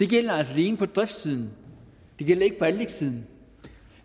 gælder altså alene på driftssiden det gælder ikke på anlægssiden